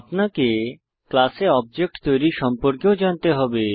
আপনাকে ক্লাসে অবজেক্ট তৈরী সম্পর্কেও জানতে হবে